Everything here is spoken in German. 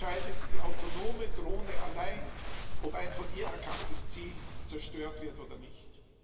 Jetzt entscheidet die autonome Drohne allein, ob ein von ihr erkanntes Ziel zerstört wird oder nicht.